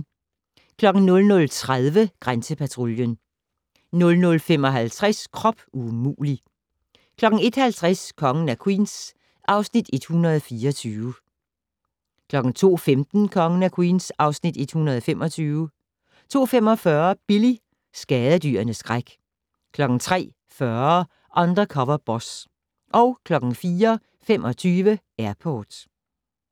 00:30: Grænsepatruljen 00:55: Krop umulig! 01:50: Kongen af Queens (Afs. 124) 02:15: Kongen af Queens (Afs. 125) 02:45: Billy - skadedyrenes skræk 03:40: Undercover Boss 04:25: Airport